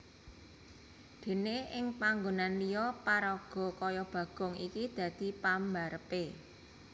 Déné ing panggonan liya paraga kaya Bagong iki dadi pambarepé